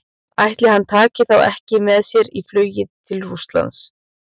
Ætli hann taki þá ekki með sér í flugið til Rússlands?